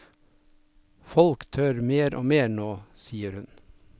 Folk tør mer og mer nå, sier hun.